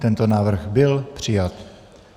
Tento návrh byl přijat.